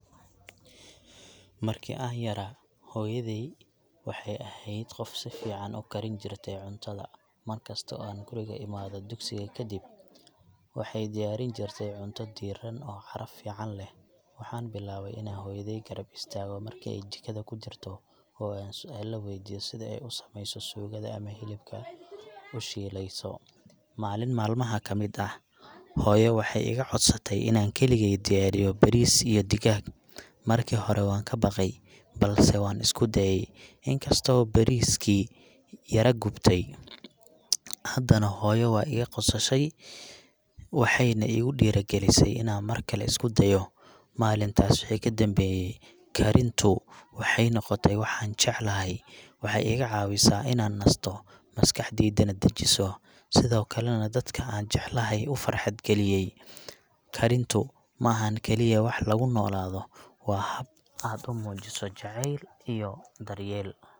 Marki an yaraa, hoyadey waxy ehed gof sufican ukarinjirte cuntada, markasto oo guriga imado, duksiga kadib , waxay diyarinjirte cunta diiran oo caraf leh, waxan bilawe inan hoyadey qarab istago marki ay jikadha kujirto, oo an suala weydiyo sidaa ay usameyso suqada ama xilibka ushileyso, malin malmaxa kamid ah, hoyoo waxay igacodsatey inan kaligey diyariyo bariis iyo digag, marki xore wan kabaqey balse wan iskudaye, inkasto bariiski yara gubtay, xadana hoyoo waigososhey waxayna igudiragalisay inan markale iskudayo, malintas wixii kadambeye, karintu waxay nogotee wax an jeclaxay, waxay igacawisa inan nasto, maskaxdeydana dajiiso, sidhokale dadka an jeclaxay ufarxad galiyey, karintu maaxan kaliya wax lagunolado, wa inad umujiso jacel iyo daryeel.